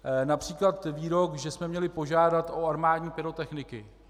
Například výrok, že jsme měli požádat o armádní pyrotechniky.